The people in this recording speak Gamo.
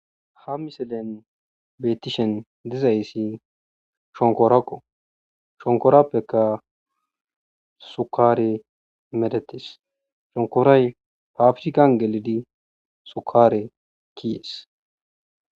ha miselen betishen dizayssi shonkorako shonkorappekka sukare medhettes shonkoray pafirkkan gelidi sukare kezees